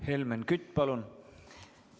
Helmen Kütt, palun!